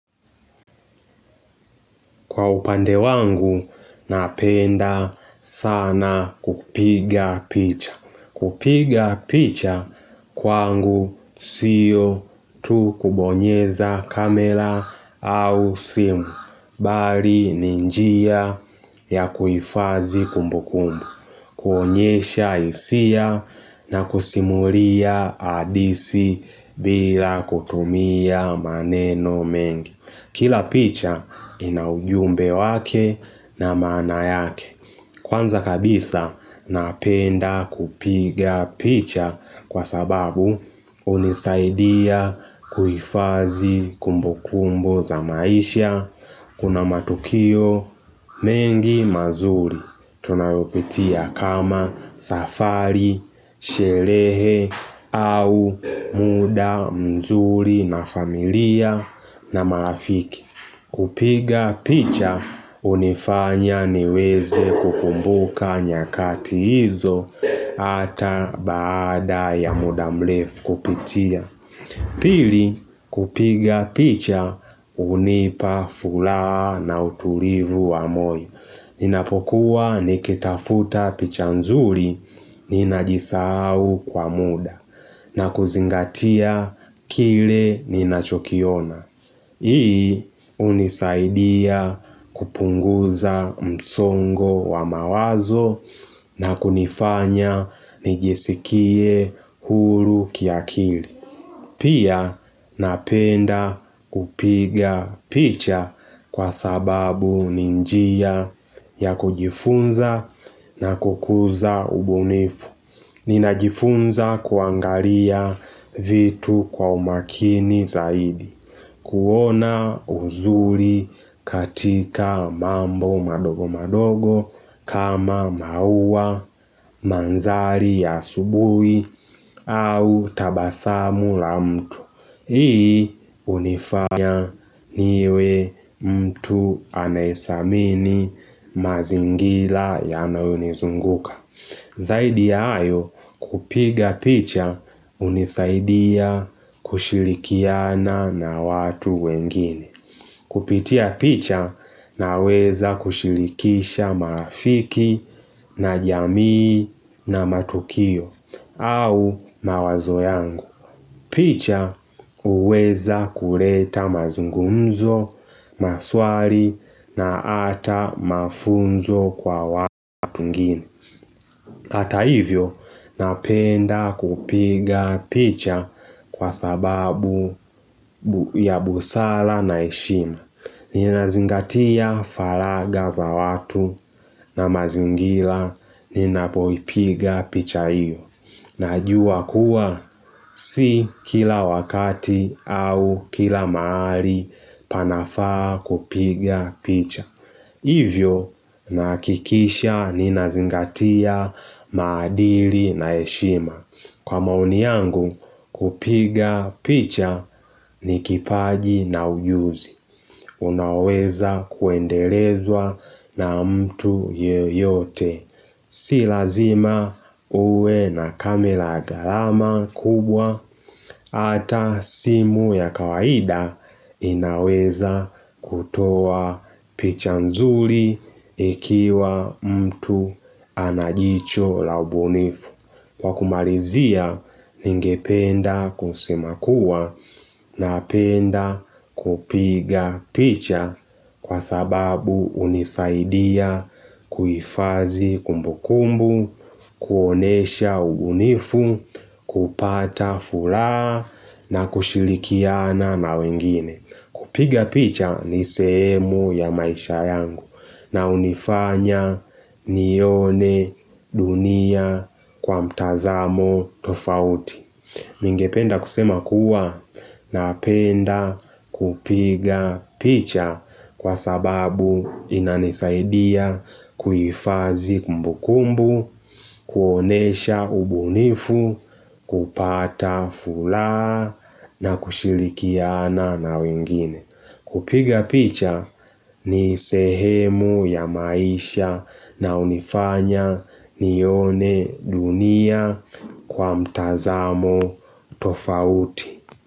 Kwa upande wangu, napenda sana kupiga picha. Kupiga picha kwangu siyo tu kubonyeza kamera au simu. Bali ninjia ya kuifazi kumbu kumbu. Kuonyesha isia na kusimuria adisi bila kutumia maneno mengi. Kila picha inaujumbe wake na maana yake Kwanza kabisa napenda kupiga picha kwa sababu kunisaidia kuifazi kumbukumbu za maisha Kuna matukio mengi mazuri Tunayopitia kama safari, sherehe au muda mzuri na familia na marafiki kupiga picha hunifanya niweze kukumbuka nyakati hizo ata baada ya muda mrefu kupitia Pili kupiga picha hunipa furaha na utulivu wa moyo Ninapokuwa nikitafuta picha nzuri ninajisahau kwa muda na kuzingatia kile ninachokiona. Hii unisaidia kupunguza msongo wa mawazo na kunifanya nijisikie huru ki akili. Pia napenda kupiga picha kwa sababu ninjia ya kujifunza na kukuza ubunifu. Ninajifunza kuangaria vitu kwa umakini zaidi. Kuona uzuri katika mambo madogo madogo kama maua manzari ya asubui au tabasamu la mtu. Hii hunifanya niwe mtu anaisamini mazingira yanayo nizunguka Zaidi ya hayo kupiga picha hunisaidia kushilikiana na watu wengine Kupitia picha na weza kushilikisha marafiki na jamii na matukio au mawazo yangu picha uweza kuleta mazungumzo, maswali na ata mafunzo kwa watu wengine Hata hivyo napenda kupiga picha kwa sababu ya busara na heshima ninazingatia falaga za watu na mazingila ninapoipiga picha iyo Najua kuwa si kila wakati au kila mahali panafaa kupiga picha Hivyo nahakikisha ni nazingatia maadili na heshima Kwa maoni yangu kupiga picha ni kipaji na ujuzi Unaweza kuendelezwa na mtu yeyote Si lazima uwe na camera gharama kubwa ata simu ya kawaida inaweza kutoa picha nzuri ikiwa mtu anajicho la ubunifu. Kwa kumalizia ningependa kusema kuwanapenda kupiga picha kwa sababu unisaidia kuifadhi kumbukumbu, kuonesha ubunifu, kupata fula na kushilikiana na wengine. Kupiga picha ni semu ya maisha yangu na unifanya nione dunia kwa mtazamo tofauti. Ningependa kusema kuwa na apenda kupiga picha kwa sababu inanisaidia kuihifadhii kumbukumbu, kuonesha ubunifu, kupata furaha na kushilikiana na wengine. Kupiga picha ni sehemu ya maisha na hunifanya nione dunia kwa mtazamo tofauti.